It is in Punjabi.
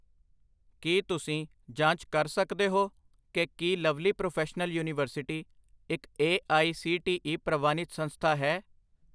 ਕੀ ਤੁਸੀਂ ਜਾਂਚ ਕਰ ਸਕਦੇ ਹੋ ਕਿ ਕੀ ਲਵਲੀ ਪ੍ਰੋਫੈਸ਼ਨਲ ਯੂਨੀਵਰਸਿਟੀ ਇੱਕ A I C T E ਪ੍ਰਵਾਨਿਤ ਸੰਸਥਾ ਹੈ?